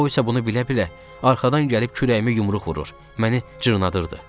O isə bunu bilə-bilə arxadan gəlib kürəyimə yumruq vurur, məni cırnadırdı.